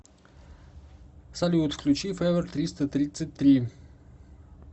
салют включи февер триста тридцать три